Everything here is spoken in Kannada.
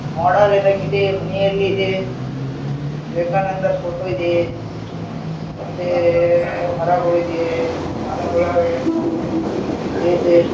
ಮೋಡೆಲ್ ಇದ್ದಂಗ ಇದೆ ಮನೆಯಲ್ಲಿ ಇದೆ ವಿವೇಕಾನಂದರ ಫೋಟೋ ಇದೆ ಮತ್ತೆ ಮರಗಳು ಇದೆ ಮರಗಳು ಇದೆ --